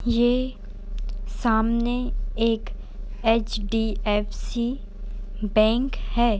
ये सामने एक एच.डी.एफ.सी. बैंक है।